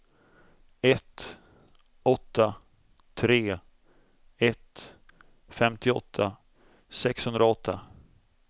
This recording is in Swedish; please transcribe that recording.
ett åtta tre ett femtioåtta sexhundraåtta